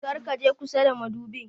Kar ka je kusa da madubin.